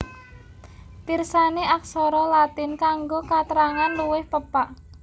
Pirsani Aksara Latin kanggo katrangan luwih pepak